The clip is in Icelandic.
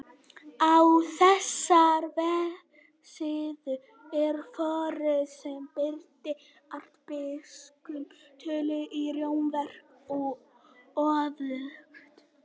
Á þessari vefsíðu er forrit sem breytir arabískum tölum í rómverskar og öfugt.